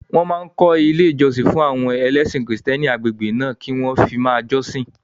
Wọ́n máa kọ́ ilé ìjọsìn fún àwọn ẹlẹ́sìn kìrìsìtẹ́nì agbègbè náà kí wọ́n fi máa jọ́sìn